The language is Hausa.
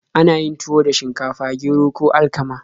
Ana yin tuwo da shinkafa, gero, ko alkama.